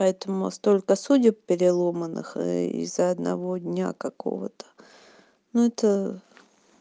поэтому столько судеб переломанных из-за одного дня какого-то ну это